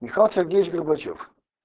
михаил сергеевич горбачёв